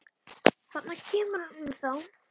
Þarna kemur hún þá!